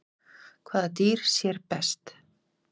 Hvaða dýr sér best?